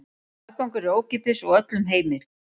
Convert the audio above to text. Aðgangur er ókeypis og öllum heimill.